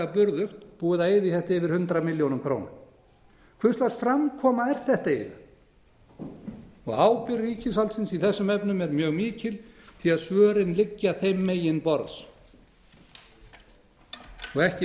burðugt búið að eyða í þetta yfir hundrað milljónir króna hver lags framkoma er þetta eiginlega ábyrgð ríkisvaldsins í þessum efnum er mjög mikil því svörin liggja þeim megin borðs ekki